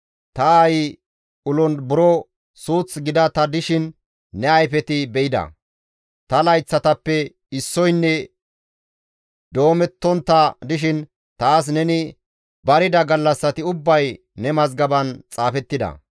ta aayi ulon buro suuth gida ta dishin ne ayfeti be7ida; ta layththatappe issoynne doomettontta dishin taas neni barida gallassati ubbay ne mazgaban xaafettida.